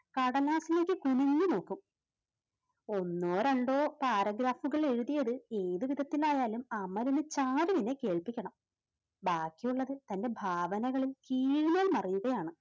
കടലാസിലേക്ക് കുനിഞ്ഞുനോക്കൂ, ഒന്നോ രണ്ടോ paragraph കൾ എഴുതിയത് ഏതുവിധത്തിൽ ആയാലും അമലിന് ചാരുവിനെ കേൾപ്പിക്കണം. ബാക്കിയുള്ളത് തന്റെ ഭാവനകളിൽ കീഴ്മേൽ മറിയുകയാണ്.